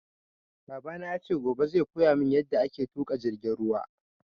Babana yace gobe zai koyamun yaɗa ake tuƙa jirgin ruwa